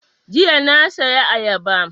Jiya na saya ayaba